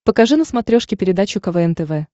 покажи на смотрешке передачу квн тв